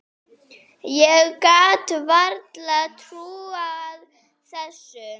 Ég gat varla trúað þessu.